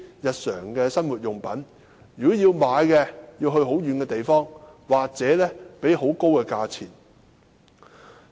如要購買日用品，便要到很遠的地方或支付高價。